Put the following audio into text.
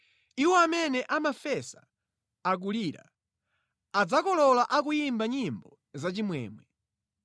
Iwo amene amafesa akulira, adzakolola akuyimba nyimbo zachimwemwe.